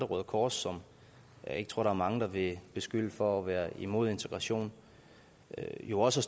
røde kors som jeg ikke tror mange vil beskylde for at være imod integration jo også